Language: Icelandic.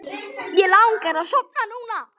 Mig langar að sofna núna.